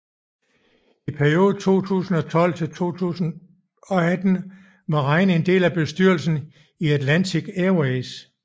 I perioden 2012 til 2018 var Rein en del af bestyrelsen i Atlantic Airways